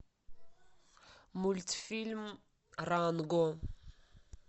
мультфильм ранго